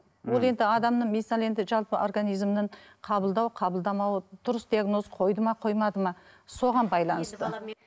ол енді адамның мысалы енді жалпы организмнің қабылдау қабылдамауы дұрыс диагноз қойды ма қоймады ма соған байланысты